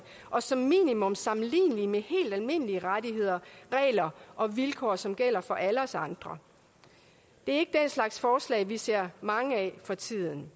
og som minimum sammenlignelige med helt almindelige rettigheder regler og vilkår som gælder for alle os andre det er slags forslag vi ser mange af for tiden